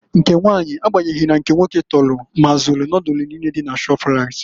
Nke nwanyị na agbanyeghi na nke nwoke tọlụ mazụ Nodulu niine dị na Shọprait.